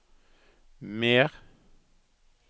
mer